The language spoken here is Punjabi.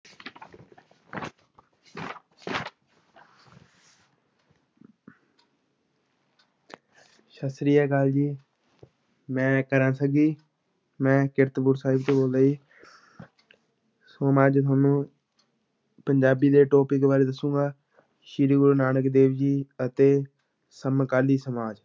ਸਤਿ ਸ੍ਰੀ ਅਕਾਲ ਜੀ ਮੈਂ ਮੈਂ ਕੀਰਤਪੁਰ ਸਾਹਿਬ ਤੋਂ ਬੋਲਦਾਂ ਜੀ ਸੋ ਮੈਂ ਅੱਜ ਤੁਹਾਨੂੰ ਪੰਜਾਬੀ ਦੇ topic ਬਾਰੇ ਦੱਸਾਂਗਾ, ਸ੍ਰੀ ਗੁਰੂ ਨਾਨਕ ਦੇਵ ਜੀ ਅਤੇ ਸਮਕਾਲੀ ਸਮਾਜ